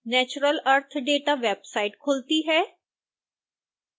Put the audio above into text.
natural earth data website खुलती है